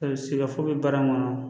A bɛ se ka fo bɛ baara in kɔnɔ